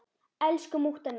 Elsku mútta mín.